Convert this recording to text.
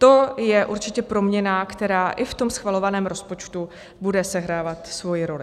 To je určitě proměna, která i v tom schvalovaném rozpočtu bude sehrávat svoji roli.